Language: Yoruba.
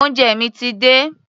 Oúnjẹ mi ti dé.